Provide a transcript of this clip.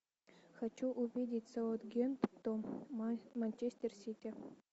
хочу увидеть саутгемптон манчестер сити